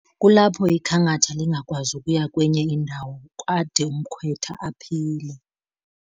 Kulapho ikhankatha lingakwazi ukuya kwenye indawo ade umkhwetha aphile.